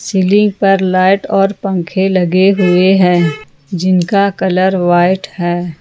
Ceiling पर light और पंखे लगे हुए हैं जिनका कलर व्हाइट है।